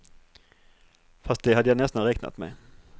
Fast det hade jag nästan räknat med.